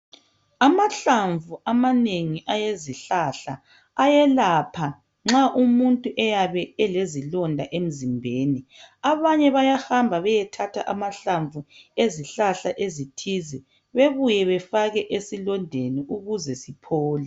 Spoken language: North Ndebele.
amahlamvu amanengi awezihlahla ayelpha nxa umuntu eyabe elezilonda emzimbeni abanye bayahamba beyethatha amahlamvu ezihlahla ezithize bebuye befake esilondeni ukuze siphole